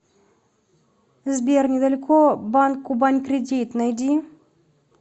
сбер недалеко банк кубань кредит найди